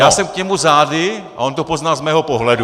Já jsem k němu zády a on to poznal z mého pohledu.